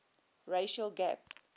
racial gap